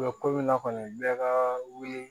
ko min na kɔni bɛɛ ka wuli